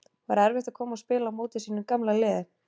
Var erfitt að koma og spila á móti sínu gamla liði?